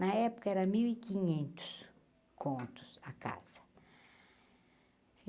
Na época era mil e quinhentos contos a casa.